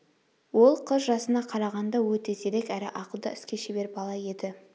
ол қыз жасына қарағанда өте зерек әрі ақылды іске шебер бала еді